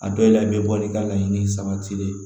A dɔw la i bɛ bɔli ka laɲini sabati dɛ